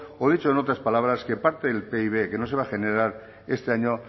o dicho en otras palabras que parte del pib que no se va a generar este año